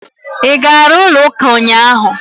Ị gara ụlọ ụka ụnyaahụ?